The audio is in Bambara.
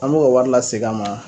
An m'o ka wari lasegin a ma.